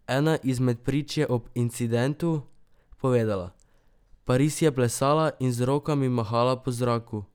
Ena izmed prič je ob incidentu povedala: "Paris je plesala in z rokami mahala po zraku.